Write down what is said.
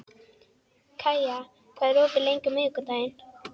Kaía, hvað er opið lengi á miðvikudaginn?